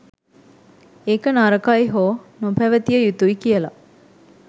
ඒක නරකයි හෝ නොපැවතිය යුතුයි කියලා